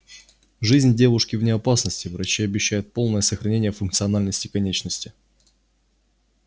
жизнь девушки вне опасности врачи обещают полное сохранение функциональности конечности